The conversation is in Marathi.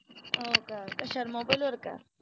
हो का कशावर mobile वर का?